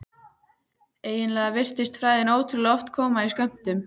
Eiginlega virtist frægðin ótrúlega oft koma í skömmtum.